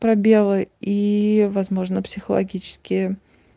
пробелы и возможно психологические